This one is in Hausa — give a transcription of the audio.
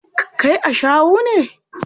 Kai ashawu ne.